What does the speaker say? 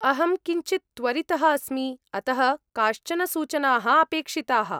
अहं किञ्चित् त्वरितः अस्मि, अतः काश्चन सूचनाः अपेक्षिताः।